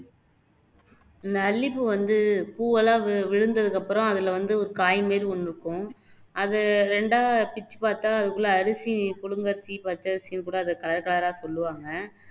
இந்த அல்லிப்பூ வந்து இந்த பூவெல்லாம் விழுந்ததுக்கு அப்பறம் அதுல வந்து ஒரு காய் மாதிரி ஒண்ணு இருக்கும் அது ரெண்டா பிச்சு பாத்தா அதுக்குள்ள அரிசி புழுங்கலரிசி, பச்சரிசியும் போல அது கலர்கலரா சொல்லுவாங்க